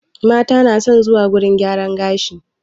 Mata na son zuwa wurin gyaran gashi